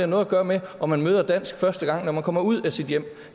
noget at gøre med om man møder dansk første gang når man kommer ud af sit hjem